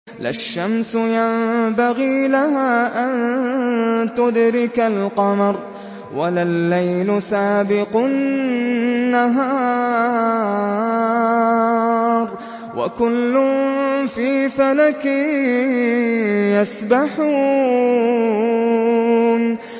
لَا الشَّمْسُ يَنبَغِي لَهَا أَن تُدْرِكَ الْقَمَرَ وَلَا اللَّيْلُ سَابِقُ النَّهَارِ ۚ وَكُلٌّ فِي فَلَكٍ يَسْبَحُونَ